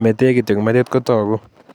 Metee kityo metit ko taku